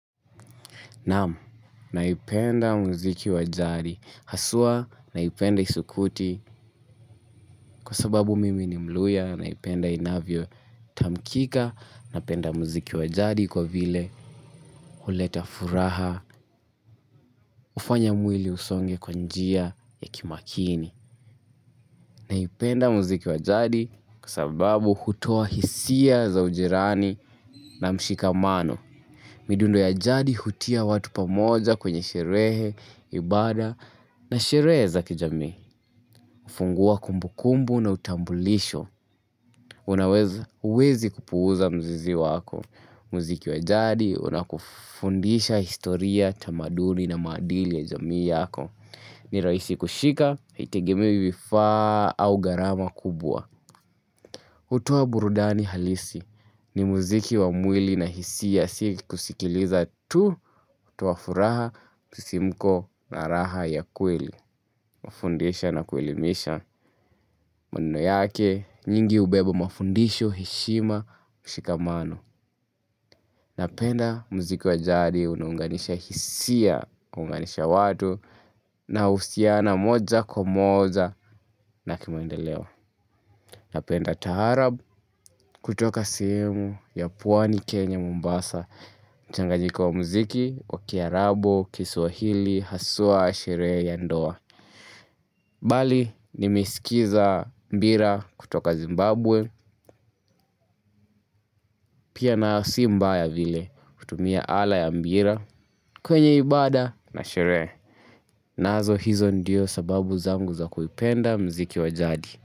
Naam, naipenda muziki wa jari. Haswa, naipenda isukuti kwa sababu mimi ni mluhya, naipenda inavyotamkika, napenda muziki wajadi kwa vile huleta furaha hufanya mwili usonge kwa njia ya kimakini. Naipenda muziki wa jadi kwa sababu hutoa hisia za ujirani na mshikamano. Midundo ya jadi hutia watu pamoja kwenye sherehe, ibada na sherehe za kijamii. Hufungua kumbukumbu na utambulisho. Huwezi kupuuza mzizi wako. Mziki wa jadi unakufundisha historia, tamaduni na maadili ya jamii yako. Ni rahisi kushika, haitegemei vifaa au gharama kubwa. Hutoa burudani halisi, ni muziki wa mwili na hisia ya si kusikiliza tu, hutoa furaha, msisi mko na raha ya kweli, hufundisha na kuelimisha. Maneno yake, nyingi hubeba mafundisho, heshima, ushikamano. Napenda muziki wa jadi unaunganisha hisia, unaunganisha watu inahusiana moja kwa moja na kimaendeleo. Napenda taharaab kutoka sehemu ya pwani Kenya Mombasa. Mchanganyiko wa muziki, wa kiarabu, kiswahili, haswa, sherehe ya ndoa. Bali nimeisikiza mbira kutoka Zimbabwe pia na si mbaya vile kutumia ala ya mbira kwenye ibada na sherehe. Nazo hizo ndiyo sababu zangu za kuipenda mziki wa jadi.